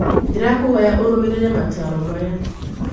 Ndĩrakũĩhoya ũrũmĩrĩrĩ mataarĩrio maya.